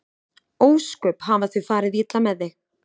Ósköp hafa þau farið illa með þig.